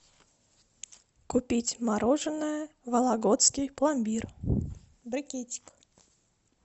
купить мороженое вологодский пломбир брикетик